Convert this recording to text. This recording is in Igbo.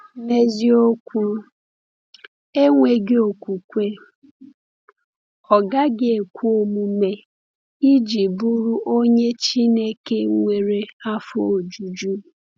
N’eziokwu, “enweghị okwukwe, ọ gaghị ekwe omume iji bụrụ onye Chineke nwere afọ ojuju.”